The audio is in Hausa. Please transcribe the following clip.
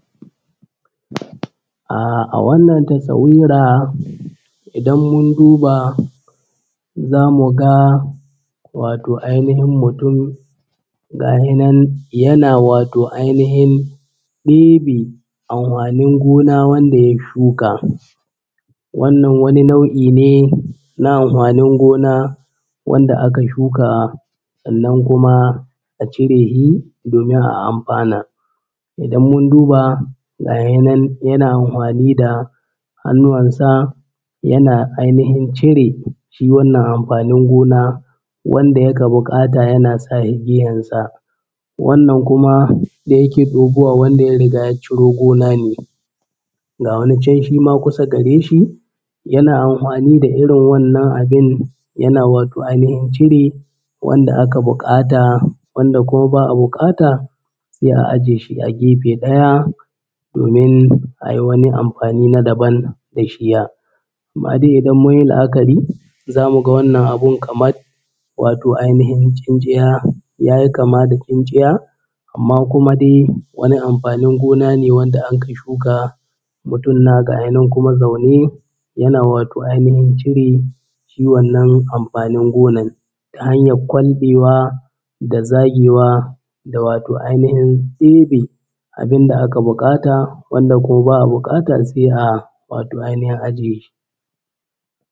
Ah a wannan tasawira idan mun duba za mu ga wato ainihin mutum gahe nan yana wato ainihin ɗebe anhwanin gona wanda ya shuka. Wannan wani nau’i ne na anhwanin gona wanda aka shuka sannan kuma a cire shi domin a amhwana. Idan mun duba gahenan yana anhwani da hannuwan sa yana cire shiwannan amfanin gona wanda yaka buƙata yana sa shi gehen sa, wannan kuma da yake ɗebowa wanda ya riga ya ciro gona ne. Ga wani can shi ma kusa gare shi yana anhwani da irin wannan abin yana wato ainihin cire wanda aka buƙata wanda kuma ba a buƙata sai a ajiye shi a gefe ɗaya domin a yi wani anhwani na daban da shiya. Amma dai idan mun yi la’akari za mu gawannan abun kamat wato ainihin tsintsiya, ya yi kama da tsintsiya amma kuma dai wani amfanin gona ne wanda anka shuka mutum na gaya nan kuma zaune yana wato ainihin cire shi wannan amfanin gona ta hanyar kwanɗewa da zagewa da wato ainihin ɗebe abin da aka buƙata wanda ko ba a buƙata sai a wato ainihin ajiye shi.